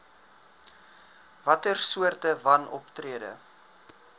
watter soorte wanoptrede